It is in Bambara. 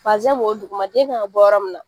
b'o duguma , den kan ka bɔ yɔrɔ mun na.